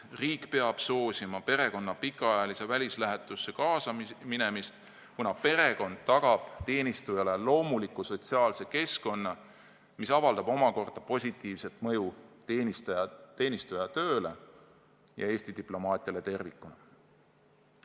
Riik peab soosima perekonna pikaajalisse välislähetusse kaasa minemist, kuna perekond tagab teenistujale loomuliku sotsiaalse keskkonna, mis avaldab omakorda positiivset mõju teenistuja tööle ja Eesti diplomaatiale tervikuna.